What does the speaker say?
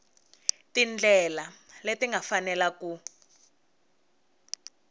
tindlela leti nga fanela ku